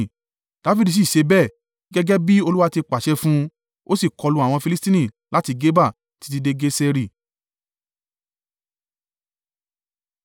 Dafidi sì ṣe bẹ́ẹ̀, gẹ́gẹ́ bí Olúwa ti pàṣẹ fún un; ó sì kọlu àwọn Filistini láti Geba títí dé Geseri.